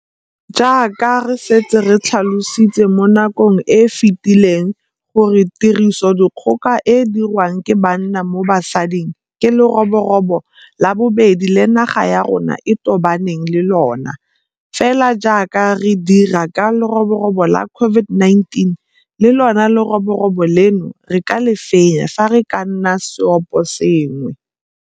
Jaaka re setse re tlhalositse mo nakong e e fetileng gore tirisodikgoka e e diriwang ke banna mo basading ke leroborobo la bobedi le naga ya rona e tobaneng le lona, fela jaaka re dira ka leroborobo la COVID19, le lona leroborobo leno re ka le fenya fa re ka nna seoposengwe.